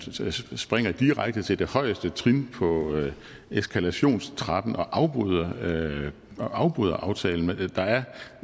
springer direkte til det højeste trin på eskalationstrappen og afbryder og afbryder aftalen der er